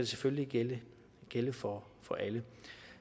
selvfølgelig gælde for for alle